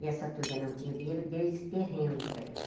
E essa turca não tinha o dinheiro, deu esse terreno para ele.